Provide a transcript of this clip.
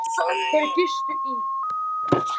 Þeir gistu í